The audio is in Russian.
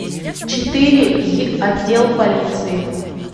четыре й отдел полиции